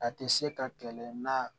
A tɛ se ka kɛlɛ na